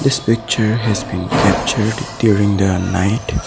this picture has been captured during the night.